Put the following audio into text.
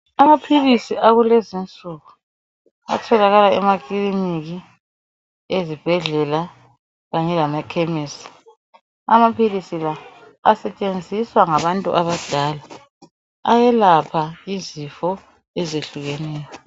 amaphilisi akulezinsuku atholakala emakliniki ezibhedlela kanye lemakhemisi amaphilisi la asetshenziswa ngabantu abadala ayelapha izifo ezehlukeneyo